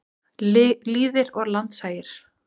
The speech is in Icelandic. Lýðir og landshagir.